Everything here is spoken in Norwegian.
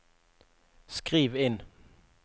skriv inn